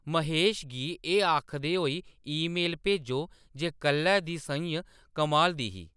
महेश गी एह्‌‌ आखदे होई ईमेल भेजो जे कल्लै दी सʼञ कमाल दी ही